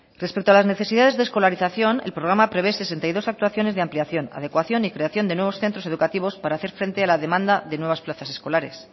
respecto a las necesidades de escolarización el programa prevé sesenta y dos actuaciones de ampliación adecuación y creación de nuevos centros educativos para hacer frente a la demanda de nuevas plazas escolares